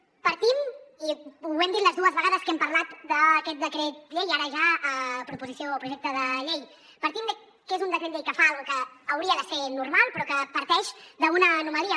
partim i ho hem dit les dues vegades que hem parlat d’aquest decret llei ara ja proposició o projecte de llei de que és un decret llei que fa una cosa que hauria de ser normal però que parteix d’una anomalia